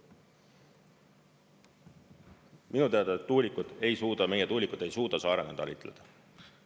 Minu teada tuulikud ei suuda, meie tuulikud ei suuda saarena talitleda.